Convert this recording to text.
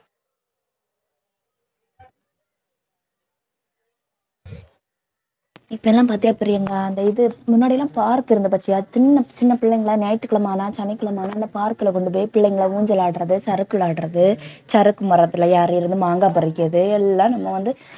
இப்ப எல்லாம் பாத்தியா பிரியங்கா அந்த இது முன்னாடிலாம் park இருந்துது பாத்தியா சின்ன சின்ன பிள்ளைங்கெல்லாம் ஞயாற்றுக்கிழமையானா சனிக்கிழமையான அந்த park ல கொண்டு போய் பிள்ளைங்க ஊஞ்சல் ஆடறது, சறுக்கு விளையாடறது, சறுக்கு மரத்துல ஏறுறது, மாங்காய் பறிக்கறது எல்லாம் நம்ப வந்து